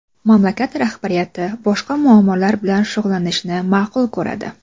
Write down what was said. Mamlakat rahbariyati boshqa muammolar bilan shug‘ullanishni ma’qul ko‘radi.